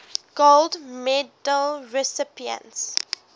gold medal recipients